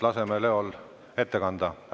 Laseme Leol ettekannet pidada.